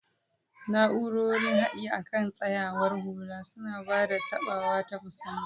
Na'urorin haɗi akan tsayawar hula suna ba da taɓawa ta musamman.